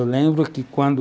Eu lembro que quando